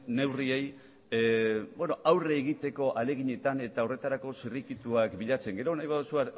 neurriei aurre egiteko ahaleginetan eta horretarako zirrikituak bilatzen gero nahi baduzu